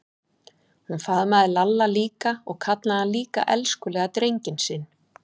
Hún faðmaði Lalla líka og kallaði hann líka elskulega drenginn sinn.